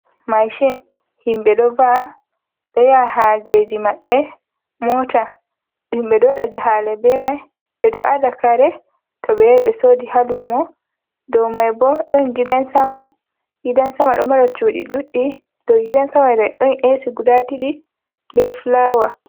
Maashi, himɓe ɗo va'a, ɗo yaha haajeeji maɓɓe, Moota himɓe ɗo waɗa jahaale bee may, ɓe ɗo ada kare to ɓe yahi ɓe soodi haa luumo, dow may bo ɗon gidan sama, ginan sama ɗon mara cuuɗi ɗuɗɗi, dow gidan sama may ɗon Eesi gudaa ɗiɗi bee fulaawa.